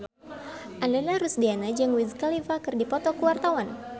Ananda Rusdiana jeung Wiz Khalifa keur dipoto ku wartawan